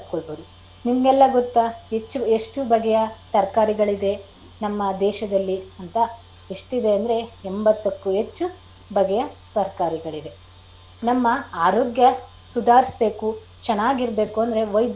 ನಿಮಗೆಲ್ಲ ಗೊತ್ತಾ ಹೆಚ್ಚು ಎಷ್ಟು ಬಗೆಯ ತರಕಾರಿಗಳಿದೆ ನಮ್ಮ ದೇಶದಲ್ಲಿ ಅಂತ ಎಷ್ಟಿದೆ ಅಂದ್ರೆ ಎಂಬತ್ತಕ್ಕೂ ಹೆಚ್ಚು ಬಗೆಯ ತರಕಾರಿಗಳಿವೆ. ನಮ್ಮ ಆರೋಗ್ಯ ಸುಧಾರಿಸಬೇಕು ಚೆನ್ನಾಗಿರಬೇಕು ಅಂದ್ರೆ ವೈದ್ಯರು ನಮ್ಗೆ.